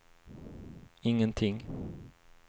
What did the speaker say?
ingenting